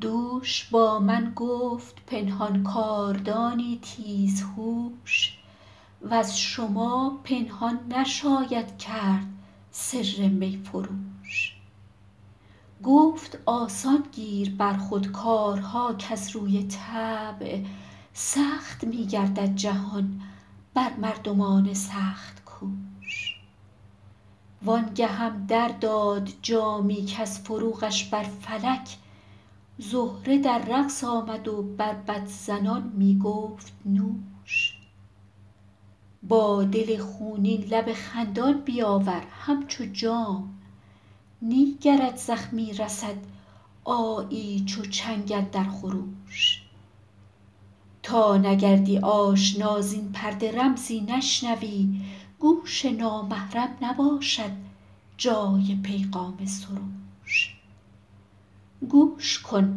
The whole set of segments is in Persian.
دوش با من گفت پنهان کاردانی تیزهوش وز شما پنهان نشاید کرد سر می فروش گفت آسان گیر بر خود کارها کز روی طبع سخت می گردد جهان بر مردمان سخت کوش وان گهم در داد جامی کز فروغش بر فلک زهره در رقص آمد و بربط زنان می گفت نوش با دل خونین لب خندان بیاور همچو جام نی گرت زخمی رسد آیی چو چنگ اندر خروش تا نگردی آشنا زین پرده رمزی نشنوی گوش نامحرم نباشد جای پیغام سروش گوش کن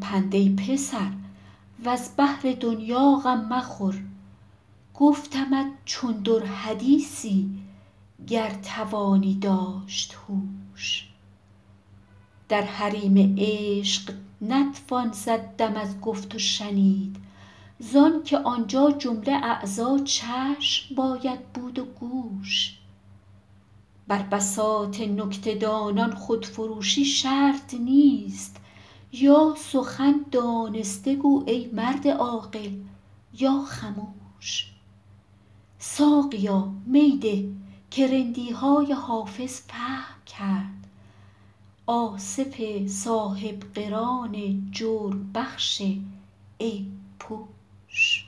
پند ای پسر وز بهر دنیا غم مخور گفتمت چون در حدیثی گر توانی داشت هوش در حریم عشق نتوان زد دم از گفت و شنید زان که آنجا جمله اعضا چشم باید بود و گوش بر بساط نکته دانان خودفروشی شرط نیست یا سخن دانسته گو ای مرد عاقل یا خموش ساقیا می ده که رندی های حافظ فهم کرد آصف صاحب قران جرم بخش عیب پوش